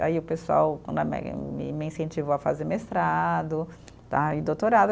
Aí o pessoal né me me incentivou a fazer mestrado, tá, e doutorado.